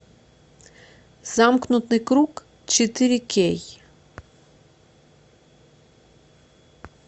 замкнутый круг четыре кей